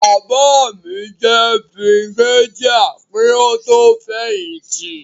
Bàbá mi jẹ́ Brigadier kí ó tó fẹ̀yìn tì.